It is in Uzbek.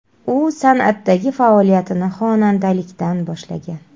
U san’atdagi faoliyatini xonandalikdan boshlagan.